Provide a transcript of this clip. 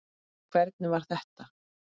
Hvernig var þetta?